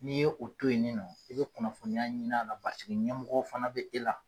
N'i ye o to ye ni nɔ i be kunnafoniya ɲin'a la ɲɛmɔgɔ fana be e la.